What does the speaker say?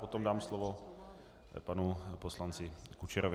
Potom dám slovo panu poslanci Kučerovi.